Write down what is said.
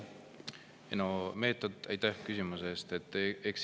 Aitäh küsimuse eest!